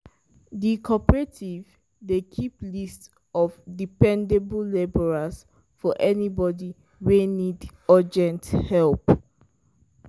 di cooperative dey keep list of dependable labourers for anybody wey need urgent help.